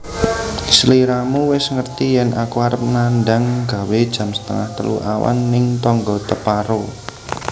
Sliramu wis ngerti yen aku arep nandang gawe jam setengah telu awan ning tonggo teparo